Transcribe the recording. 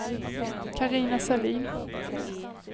Carina Sahlin